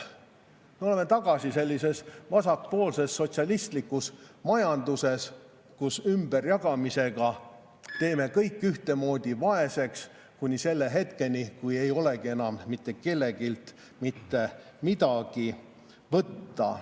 Me oleme tagasi vasakpoolses sotsialistlikus majanduses, kus me ümberjagamisega teeme kõik ühtemoodi vaeseks kuni selle hetkeni, kui ei olegi enam mitte kelleltki mitte midagi võtta.